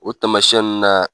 O tamasinyɛ nunnu na